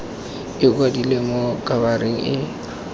e kwadilwe mo khabareng e